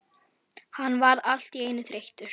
Hann varð allt í einu þreyttur.